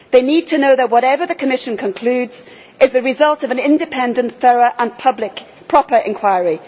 They need to know that whatever the Commission concludes is the result of an independent, thorough and public proper inquiry.